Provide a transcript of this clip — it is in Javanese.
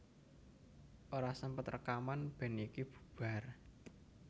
Ora sempet rekaman band iki bubar